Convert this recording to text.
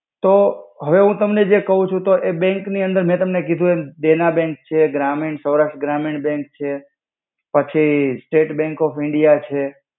તો હવે હુ તમને જે કવ છુ તો એ બેંક ની અંદર મે તમને કિધુ એમ. દેના બેંક છે, ગ્રામિણ, સૌરાષ્ટ્ર ગ્રામિણ બેંક છે. પછિ state bank of India bank છે.